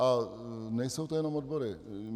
A nejsou to jen odbory.